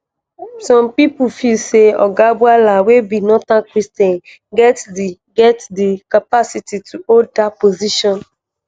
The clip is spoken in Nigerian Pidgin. some pipo feel say oga bwala wey be northern christian get di get di capacity to hold dat position.